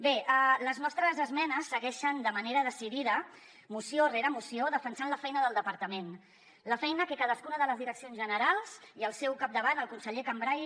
bé les nostres esmenes segueixen de manera decidida moció rere moció defensant la feina del departament la feina que cadascuna de les direccions generals i al seu capdavant el conseller cambray